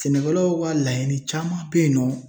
Sɛnɛkɛlaw ka laɲini caman bɛ yen nɔ.